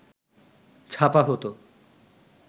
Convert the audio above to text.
ছাপা হতো